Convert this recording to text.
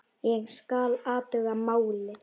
Ég skal athuga málið